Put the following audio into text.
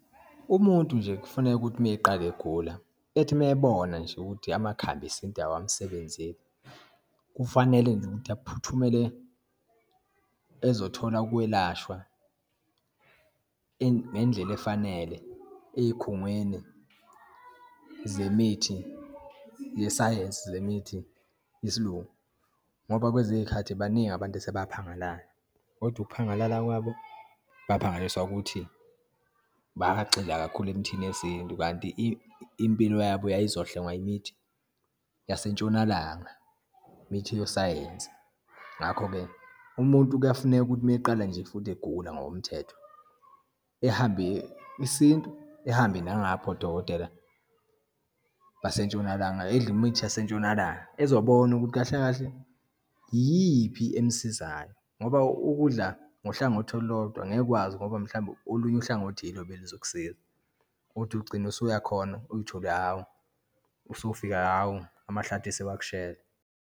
Umuntu nje kufuneka ukuthi uma eqala egula, ethi uma ebona nje ukuthi amakhambi esintu awasebenzeli, kufanele nje aphuthumele ezothola ukwelashwa ngendlela efanele eyikhungweni zemithi yesayensi, zemithi yesiLungu, ngoba kwezinye iyikhathi, baningi abantu asebaphangalala. Kodwa ukuphangalala kwabo, baphangalaliswa ukuthi bagxila kakhulu emithini yesintu kanti impilo yabo yayizohlengwa imithi yaseNtshonalanga, imithi yosayensi. Ngakho-ke umuntu kuyafuneka ukuthi uma eqala nje futhi egula ngokomthetho, ehambe isintu, ehambe nangapha odokotela baseNtshonalanga, edle imithi yaseNtshonalanga ezobona ukuthi kahle kahle iyiphi emsizayo. Ngoba ukudla ngohlangothi olulodwa angeke ukwazi ngoba, mhlawumbe olunye uhlangothi ilo beluzokusiza, uthi ugcina usuyakhona, uthole hhawu, usufika hhawu, amhlathi aseyakushela.